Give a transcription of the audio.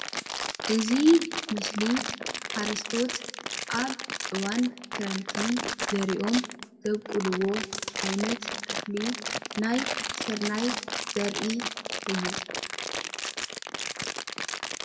እዚ ምስሊ ሓረስቶት አብ አዋን ክረምቲ ዘሪኦም ዘብቅልዎ ዓይነት እኽሊ ናይ ስርናይ ዘርኢ እዩ፡፡